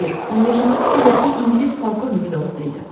Xeyr, 15-ci kupedəki ingilis polkovnik də orada idi.